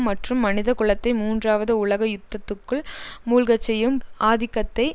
மற்றும் மனித குலத்தை மூன்றாவது உலக யுத்தத்துக்குள் மூழ்கச் செய்யும் ஆதிக்கத்தை